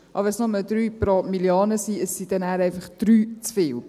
Auch wenn es nur drei Personen auf eine Million sind, dann sind es einfach drei zu viel.